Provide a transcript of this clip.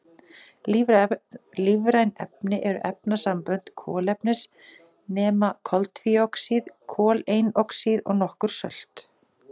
Lífræn efni eru efnasambönd kolefnis nema koltvíoxíð, koleinoxíð og nokkur sölt.